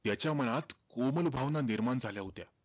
त्याच्या मनात कोमल भावना निर्माण झाल्या होत्या.